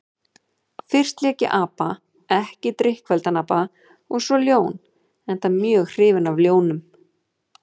Fyrst lék ég apa, ekki drykkfelldan apa, og svo ljón, enda mjög hrifinn af ljónum.